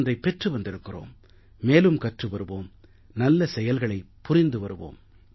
ஒன்றைப் பெற்று வந்திருக்கிறோம் மேலும் கற்று வருவோம் நல்ல செயல்களைப் புரிந்து வருவோம்